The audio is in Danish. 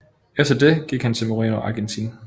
Efter det gik han til Moreno Argentin